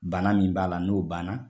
Bana min b'a la n'o ban na.